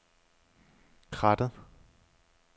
Krattet